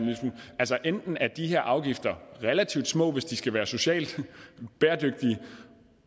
enten er de her afgifter relativt små hvis de skal være socialt bæredygtige